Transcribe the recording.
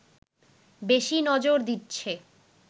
বেশি নজর দিচ্ছে